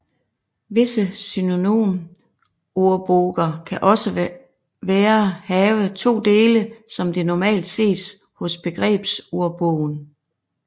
Visse synonymordboger kan også være have to dele som det normalt ses hos begrebsordbogen